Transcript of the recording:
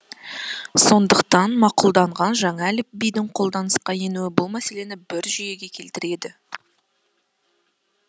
сондықтан мақұлданған жаңа әліпбидің қолданысқа енуі бұл мәселені бір жүйеге келтіреді